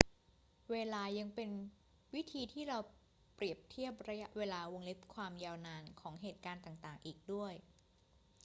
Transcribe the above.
เวลายังเป็นวิธีที่เราเปรียบเทียบระยะเวลา ความยาวนาน ของเหตุการณ์ต่าง ๆ อีกด้วย